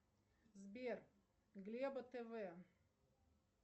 сбер глеба тв